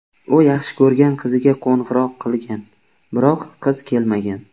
U yaxshi ko‘rgan qiziga qo‘ng‘iroq qilgan, biroq qiz kelmagan.